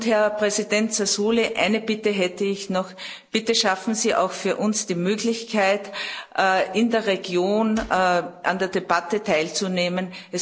Herr Präsident Sassoli, eine Bitte hätte ich noch Bitte schaffen Sie auch für uns die Möglichkeit, in der Region an der Debatte teilzunehmen.